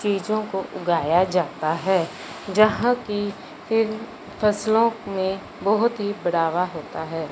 चीजों उगाया जाता है जहां की इन फसलों में बहोत ही बढ़ावा होता है।